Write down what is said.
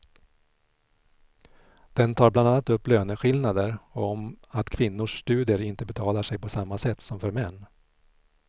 Den tar bland annat upp löneskillnader och om att kvinnors studier inte betalar sig på samma sätt som för män.